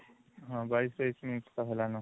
ହଁ ୨୨ ୨୩ minute ତ ହେଲାନ